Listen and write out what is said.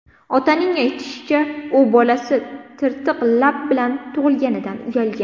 Otaning aytishicha, u bolasi tirtiq lab bilan tug‘ilganidan uyalgan.